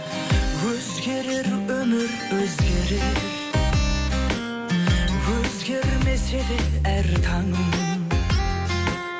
өзгерер өмір өзгерер өзгермесе де әр таңым